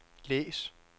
læs